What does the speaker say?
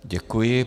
Děkuji.